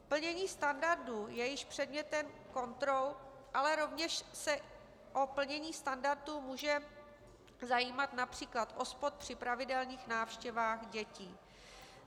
Plnění standardů je již předmětem kontrol, ale rovněž se o plnění standardu může zajímat například OSPOD při pravidelných návštěvách dětí.